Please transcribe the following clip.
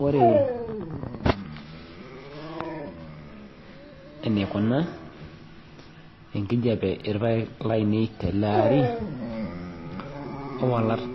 Ore eneikuna enkijiape irpaek laainei teleaari owalata